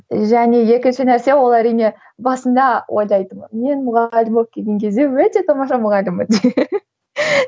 және екінші нәрсе ол әрине басында ойлайтынмын мен мұғалім болып келген кезде өте тамаша мұғаліммен деп